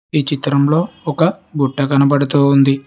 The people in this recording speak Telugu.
ఈ చిత్రంలో ఒక గుట్ట కనబడుతోంది.